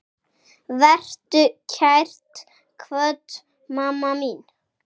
Vertu kært kvödd, mamma mín.